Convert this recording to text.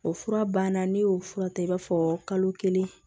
O fura banna ne y'o fura ta i b'a fɔ kalo kelen